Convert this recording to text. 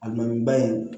A dɔnniba in